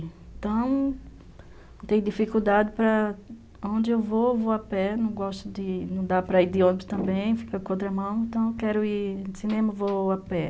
Então, tem dificuldade para onde eu vou, vou a pé, não gosto de, não dá para ir de ônibus também, fica com a outra mão, então eu quero ir de cinema, vou a pé.